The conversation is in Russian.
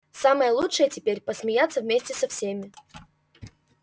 самое лучшее теперь посмеяться вместе со всеми